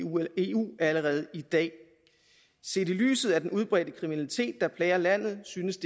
eu allerede i dag set i lyset af den udbredte kriminalitet der plager landet synes